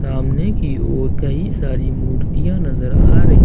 सामने की ओर कई सारी मूर्तियां नजर आ रही--